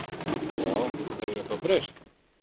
Já, hefur eitthvað breyst?